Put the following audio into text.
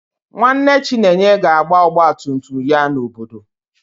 Nwanne Chinenye ga-agba ọgba tum tum ya n'obodo